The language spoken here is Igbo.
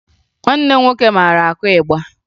Nwanne m nwoke mara akụ ịgba